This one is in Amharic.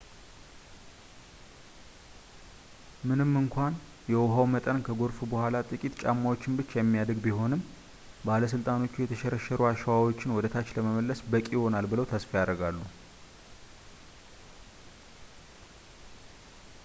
ምንም እንኳን የውሃው መጠን ከጎርፉ በኋላ ጥቂት ጫማዎችን ብቻ የሚያድግ ቢሆንም ባለሥልጣኖቹ የተሸረሸሩ አሸዋዎችን ወደታች ለመመለስ በቂ ይሆናል ብለው ተስፋ ያደርጋሉ